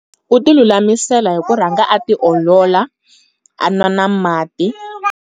U ti lulamisela hi ku rhanga a ti olola a nwa na mati.